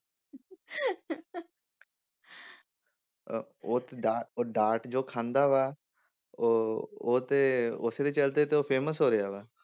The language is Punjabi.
ਅਹ ਉਹ ਤੇ ਡਾਟ ਉਹ ਡਾਟ ਜੋ ਖਾਂਦਾ ਵਾ ਉਹ ਉਹ ਤੇ ਉਸਦੇ ਚੱਲਦੇ ਤੇ ਉਹ famous ਹੋ ਰਿਹਾ ਵਾ।